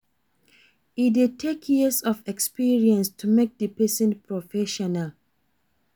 E de take years of experience to make di persin professional